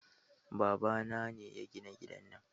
Babana ne ya gina gidan nan